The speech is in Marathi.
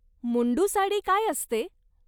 मुंडू साडी काय असते?